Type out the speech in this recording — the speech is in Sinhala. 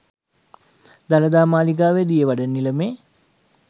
දළදා මාලිගාවේ දියවඩන නිලමේ